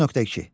9.2.